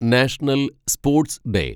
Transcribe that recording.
national sports day